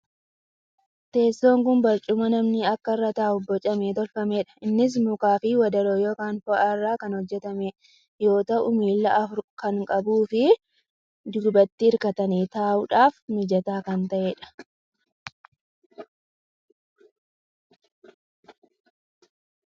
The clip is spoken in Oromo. Teesson kuni barcummaa namni akka irra taa'uf bocamee tolfameedha. Innis mukaa fi wadaroo ykn foo'aa irraa kan hojjatame yoo ta'u miila afur kan qabuu fii duubatti hirkatanii taa'uudhaaf mijataa kan ta'eedha.